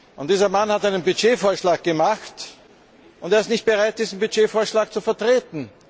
Und dieser Mann hat einen Budgetvorschlag gemacht und ist nicht bereit, diesen Budgetvorschlag zu vertreten.